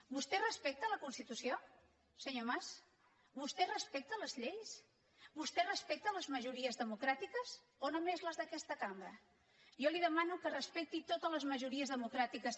vostè respecta la constitució senyor mas vostè respecta les lleis vostè respecta les majories democràtiques o només les d’aquesta cambra jo li demano que respecti totes les majories democràtiques